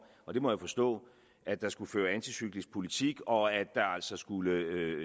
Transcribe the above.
og det må jeg forstå at der skulle føres anticyklisk politik og at der altså skulle